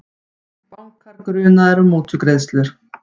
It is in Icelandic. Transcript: Bankar grunaðir um mútugreiðslur